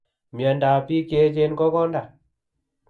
Miondab bik cheechen ko konda